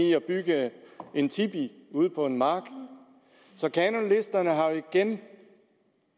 i at bygge en tipi ude på en mark kanonlisterne har igen